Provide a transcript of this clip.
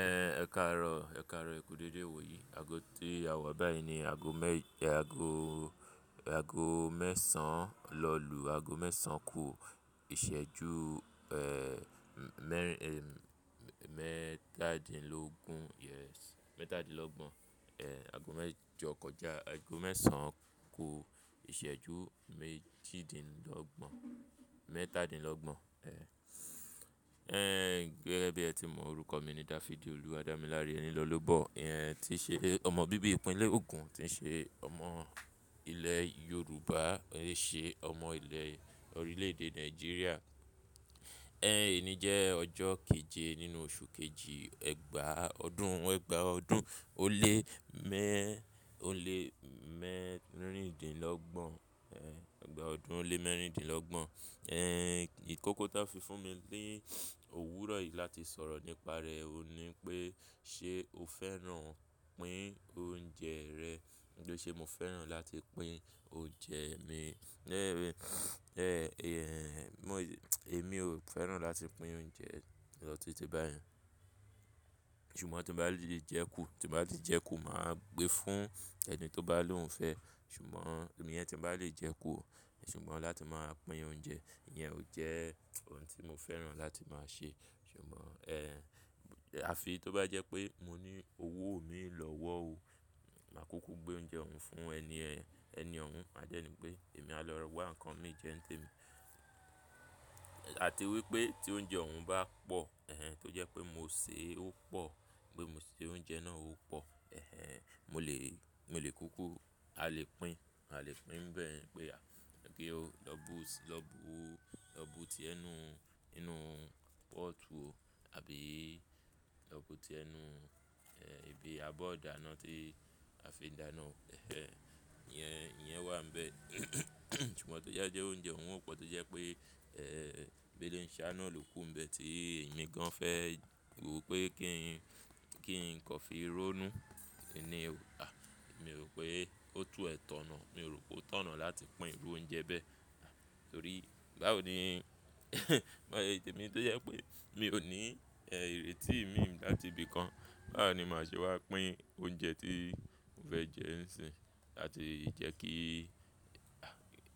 Ẹ ẹ̀karọ, ẹ̀karọ eku dédé iwò yí. Ago tí a wa báyìí ni ago mẹ́ẹ̀ṣán lọ́lù, ago mẹ́sàn án ku ìṣẹ́jú mẹ́tàdínlọ́gbọ̀n, ago mẹ́jọ kọjá. Ago mẹ́sàn án kò ìṣẹ́jú méjìdínlọ́gbọ̀n, mẹ́tàdínlọ́gbọ̀n. Ẹ gẹ́gẹ́ bí ẹ ti mọ orúkọ mi ni David Oluwadamilare Enilolobọ. Ìyen is ti ṣe ọmọ bíbí ìpínlẹ̀ Ogun, tí ṣe ọmọ ilẹ̀ Yorùbá, ṣe ọmọ ilẹ̀ orílẹ̀-èdè Nàìjíríà. Ẹ̀yin yìí jẹ́ ọjọ́ keje nínú oṣù kejì, ẹ̀gbàá ọdún, ẹ̀gbàá ọdún ó lé mẹ́rìndínlọ́gbọ̀n, ẹ̀gbàá ọdún ó lé mẹ́rìndínlọ́gbọ̀n. Ẹ̀yin ìkókó tí a fi fún mi ní òwúrọ̀ yìí láti sọ̀rọ̀ nípa rẹ ò ní pé ṣe o fẹ́ràn pín oúnjẹ rẹ. Ǹjẹ́ ṣe mo fẹ́ràn láti pín oúnjẹ mi? Lẹ́ẹ́rín, èmi ò fẹ́ràn láti pín oúnjẹ lọ títí báyìí. Ṣùgbọ́n tí mo bá lè jẹ kú, tí mo bá lè jẹ kú, màá gbé fún ẹni tí ó bá lóhùn fẹ́. Ṣùgbọ́n èmi yẹn tí mo bá lè jẹ kú, ṣùgbọ́n láti máa pín oúnjẹ, ìyẹn ò jẹ́ ohun tí mo fẹ́ràn láti máa ṣe. Ṣùgbọ́n, àfi tí ó bá jẹ́ pé mo ní owó mi lọ́wọ́ òun, màá kúkú gbé oúnjẹ òun fún ẹni ọ̀ún. Màá jẹ́ ní pé èmi á lọ wa nǹkan mi jẹ ǹtẹ̀ mi. Àti wípé tí oúnjẹ òun bá pọ̀, tó jẹ́ pé mo sè é ó pọ̀, gbé mo ṣe oúnjẹ náà ó pọ̀, èhè, mo lè, mo lè kúkú, a lè pín, a lè pín bẹ́ẹ̀ pé à, pé ó lọ bú, lọ bú, lọ bú ti ẹnu nínú pọ́ọ̀tù òun, àbí lọ bú ti ẹnu ibi abọ́ ọ̀dà náà tí a fi ń da iná. Ẹhẹ́n, ìyẹn wà níbẹ̀. Ṣùgbọ́n tó jáde pé oúnjẹ òun ò pọ̀, tó jẹ́ pé, ẹ́ẹ̀, béléǹṣẹ́ náà ló kú níbẹ̀ tí èmi gan fẹ́, mo rò pé kí n kọ́ fi rónú, èmi ni, à, èmi rò pé ó tú ẹ̀ tọ̀nà. Èmi rò pé ó tọ̀nà láti pín irú oúnjẹ bẹ́ẹ̀. Torí bá ò ní, móye, èmi tó jẹ́ pé mi ò ní ìrètí mi ńlá ti ibìkan, bá ò ní màá ṣe wá pín oúnjẹ tí mo fẹ́ jẹ ńsìn. Àti jẹ́ kí, à,